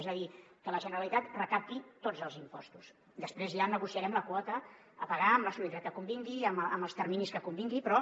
és a dir que la generalitat recapti tots els impostos després ja negociarem la quota a pagar amb la solidaritat que convingui en els terminis que convingui però